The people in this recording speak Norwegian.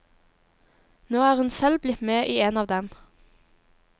Nå er hun selv blitt med i en av dem.